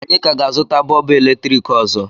Anyị ka ga-azụta bọlbụ eletrik ọzọ